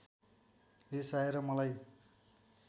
रिसाएर मलाई